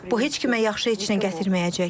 Bu heç kimə yaxşı heç nə gətirməyəcək.